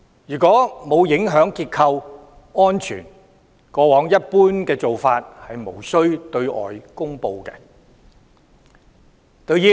如果沒有影響結構安全，過往的一般做法是無需對外公布。